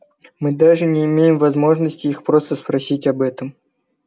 мы даже не имеем возможности их просто спросить об этом